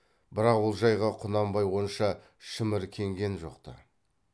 бірақ ол жайға құнанбай онша шіміркенген жоқ ты